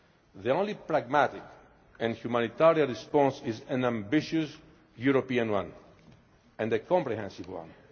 all. The only pragmatic and humanitarian response is an ambitious European one and a comprehensive